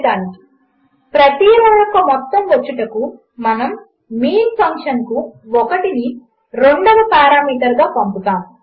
1 ప్రతి రో యొక్క మొత్తము వచ్చుటకు మనము మీన్ ఫంక్షన్కు 1 ని రెండవ పారామీటర్గా పంపుతాము